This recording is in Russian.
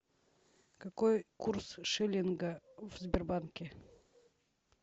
какой курс шиллинга в сбербанке